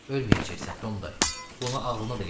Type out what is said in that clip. Ölməyəcəksən, Tom dayı, bunu ağlına da gətirmə.